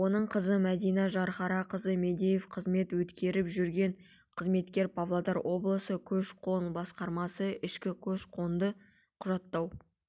оның қызы мәдина жанхарақызы мадеева қызмет өткеріп жүрген қызметкер павлодар облысы көш-қон басқармасы ішкі көш-қонды құжаттау